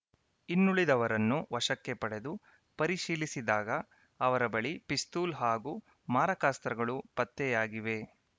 ಇನ್ನುಳಿದವರನ್ನು ವಶಕ್ಕೆ ಪಡೆದು ಪರಿಶೀಲಿಸಿದಾಗ ಅವರ ಬಳಿ ಪಿಸ್ತೂಲ್‌ ಹಾಗೂ ಮಾರಕಾಸ್ತ್ರಗಳು ಪತ್ತೆಯಾಗಿವೆ